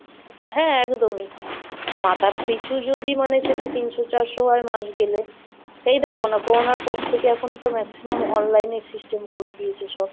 হ্যাঁ একদমই, মাথা পিছু যদি মানে সেটা তিনশো চারশো হয় মাস গেলে, এই দেখুন না করোনার পর থেকে এখন তো Maximum online system করে দিয়েছে সব।